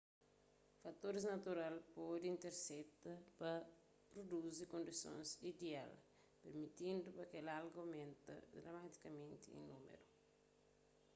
fatoris natural pode intersekta pa pruduzi kondisons ideal pirmitindu pa kel alga aumenta dramatikamenti en númeru